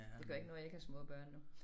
Det gør ikke noget jeg ikke har små børn nu